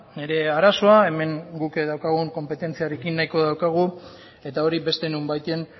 nire arazoa hemen guk daukagun konpetentziarekin nahiko daukagu eta hori beste nonbaiten